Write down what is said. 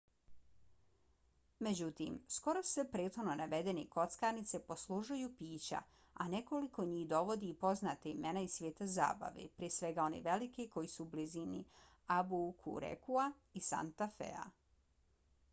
međutim skoro sve prethodno navedene kockarnice poslužuju pića a nekoliko njih dovodi i poznata imena iz svijeta zabave prije svega one velike koji su u blizini albuquerquea i santa fea